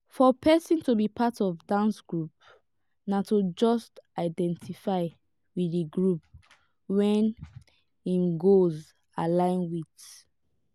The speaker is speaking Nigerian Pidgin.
for person to be part of dance group na to just identify with di group wey im goals align with